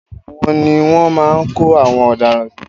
Ẹ̀wòn ni wọ́n máa ń kó àwọn ọ̀daràn sí.